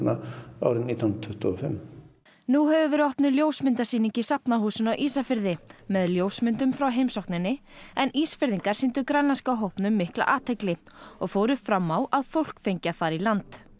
árið nítján hundruð tuttugu og fimm nú hefur verið opnuð ljósmyndasýning í Safnahúsinu á Ísafirði með ljósmyndum frá heimsókninni en Ísfirðingar sýndu grænlenska hópnum mikla athygli og fóru fram á að fólk fengi að fara í land